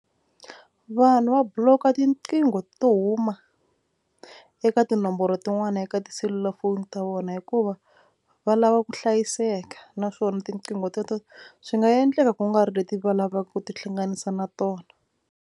Vanhu va block-a tiqingho to huma eka tinomboro tin'wani eka tiselulafoni ta vona hikuva va lava ku hlayiseka naswona tiqingho teto swi nga endleka kungari leti va lavaka ku tihlanganisa na tona.